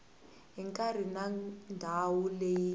hi nkarhi na ndhawu leyi